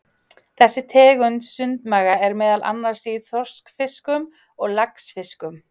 Þessi tegund sundmaga er meðal annars í þorskfiskum og laxfiskum.